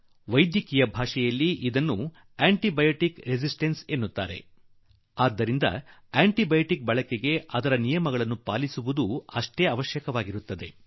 ವೈದ್ಯಕೀಯ ಭಾಷೆಯಲ್ಲಿ ಇದನ್ನು ಆಂಟಿ ಬಯೋಟಿಕ್ ಪ್ರತಿರೋಧ ಎಂದು ಹೇಳುವರು ಮತ್ತು ಇದರಿಂದಾಗಿ ಆಂಟಿ ಬಯೋಟಿಕ್ ಗಳನ್ನು ಉಪಯೋಗಿಸುವುದು ಎಷ್ಟು ಮುಖ್ಯವೋ ಅದರ ನಿಯಮಗಳ ಪಾಲನೆಯೂ ಅಷ್ಟೇ ಅಗತ್ಯ